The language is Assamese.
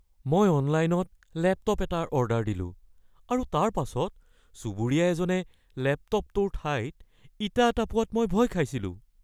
মই অনলাইনত লেপটপ এটাৰ অৰ্ডাৰ দিলোঁ আৰু তাৰ পাছত চুবুৰীয়া এজনে লেপটপটোৰ ঠাইত ইটা এটা পোৱাত মই ভয় খাইছিলোঁ।